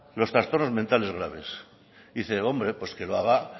los trastornos mentales graves y dice hombre que lo haga